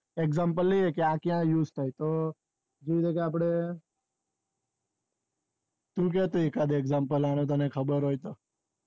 example લઈએ ક્યાં ક્યાં use થાય તો એવી રીતે આપડે તું કે તો એકાદ example આણે તને ખબર હોય તો